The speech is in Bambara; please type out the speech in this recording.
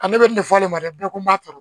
Ale bɛ nin fɔ ne ma dɛ bɛɛ ka n b'a turu